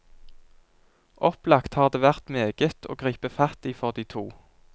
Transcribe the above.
Opplagt har det vært meget å gripe fatt i for de to.